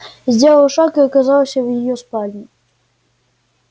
сделал шаг и оказался в её спальне